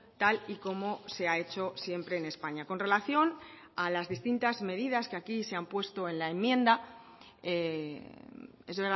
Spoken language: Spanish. tal y como se ha hecho siempre en españa con relación a las distintas medidas que aquí se han puesto en la enmienda es